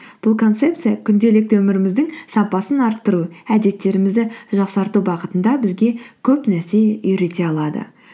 бұл концепция күнделікті өміріміздің сапасын арттыру әдеттерімізді жақсарту бағытында бізге көп нәрсе үйрете алады